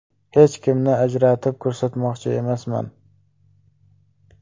Hech kimni ajratib ko‘rsatmoqchi emasman.